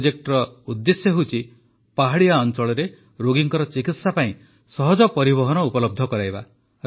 ଏହି ପ୍ରୋଜେକ୍ଟରର ଉଦ୍ଦେଶ୍ୟ ହେଉଛି ପାହାଡ଼ିଆ ଅଞ୍ଚଳରେ ରୋଗୀଙ୍କର ଚିକିତ୍ସା ପାଇଁ ସହଜ ପରିବହନ ଉପଲବ୍ଧ କରାଇବା